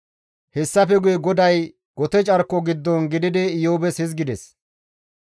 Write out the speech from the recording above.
Hessafe guye GODAY gote carko giddon gididi Iyoobes hizgides,